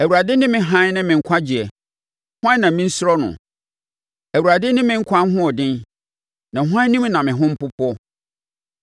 Awurade ne me hann ne me nkwagyeɛ; hwan na mensuro no? Awurade ne me nkwa ahoɔden, na hwan anim na me ho mpopoɔ?